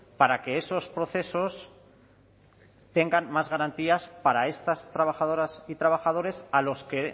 para que esos procesos tengan más garantías para estas trabajadoras y trabajadores a los que